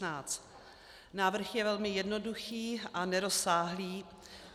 Návrh je velmi jednoduchý a nerozsáhlý.